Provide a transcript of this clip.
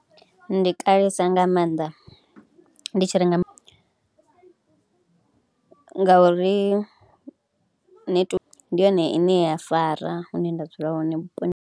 Ndi kalesa nga maanḓa, ndi tshi renga, ngauri netiweke ndi yone ine ya fara hune nda dzula hone vhuponi.